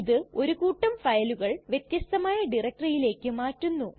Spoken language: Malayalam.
ഇത് ഒരു കൂട്ടം ഫയലുകൾ വ്യത്യസ്തമായ ഡയറക്ടറിയിലേക്ക് മാറ്റുന്നു